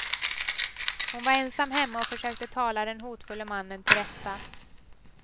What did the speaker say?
Hon var ensam hemma och försökte tala den hotfulle mannen tillrätta.